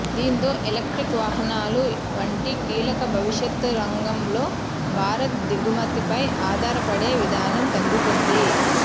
దీంతో ఎలక్ట్రిక్ వాహనాలు వంటి కీలక భవిష్యత్ రంగంలో భారత్ దిగుమతిపై ఆధారపడే విధానం తగ్గుతుంది